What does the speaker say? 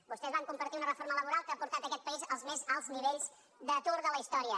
vostès van compartir una reforma laboral que ha portat aquest país als més alts nivells d’atur de la història